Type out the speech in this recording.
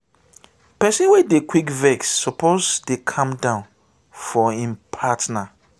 pesin wey dey quick vex suppose dey calm down for im partner.